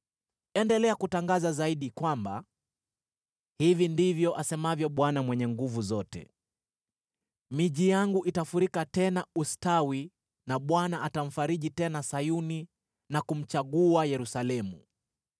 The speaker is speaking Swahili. “Endelea kutangaza zaidi kwamba: Hivi ndivyo asemavyo Bwana Mwenye Nguvu Zote: ‘Miji yangu itafurika tena ustawi na Bwana atamfariji tena Sayuni na kumchagua Yerusalemu.’ ”